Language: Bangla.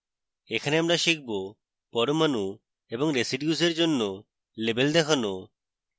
এখানে আমরা শিখব পরমাণু এবং residues in জন্য labels দেখানো